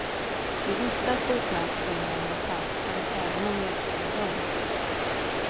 Vi visste att bokmärksänglarna var falska även om vi älskade dem.